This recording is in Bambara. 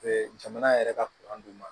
jamana yɛrɛ ka d'u ma